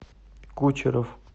кучеров